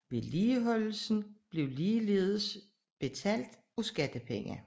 Vedligeholdelsen bliver ligeledes betalt af skattepenge